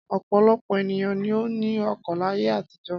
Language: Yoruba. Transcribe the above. Ọ̀pọ̀lọpọ̀ ènìyàn ni ó ní oko láyé àtijọ́.